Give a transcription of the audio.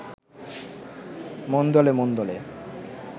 মন দোলে…মন দোলে